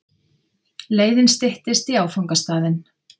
Leiðin styttist í áfangastaðinn.